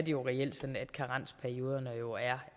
jo reelt sådan at karensperioderne er